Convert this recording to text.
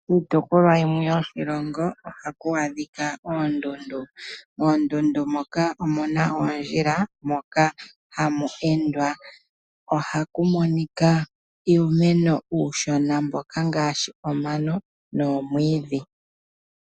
Kiitopolwa yimwe yoshilongo ohaku adhika oondundu. Moondundu moka omu na oondjila moka ha mu endwa. Oha mu monika uumeno uushona ngaashi omano nomwiidhi.